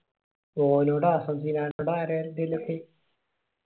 ഒനോടാ സിനനോടാ ആരെന്തിലൊക്കെ